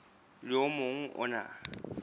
le o mong o na